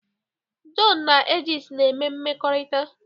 Jọn na Agnes na-eme mmekọrịta